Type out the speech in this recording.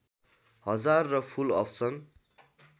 हजार र full option